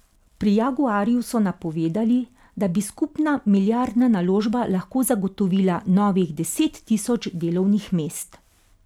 Pri Jaguarju so napovedali, da bi skupna milijardna naložba lahko zagotovila novih deset tisoč delovnih mest.